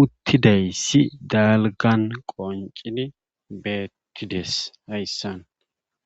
uttidayssi dalgan qoncini beettides hayssan